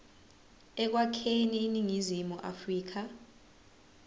ekwakheni iningizimu afrika